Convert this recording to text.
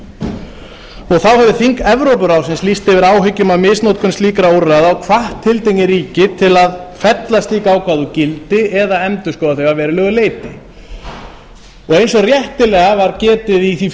alþjóðasamtaka þá hefur þing evrópuráðsins lýst yfir áhyggjum af misnotkun slíkra úrræða og hvatt tiltekin ríki til að fella slík ákvæði úr gildi eða endurskoða þau að verulegu leyti eins og réttilega var getið í því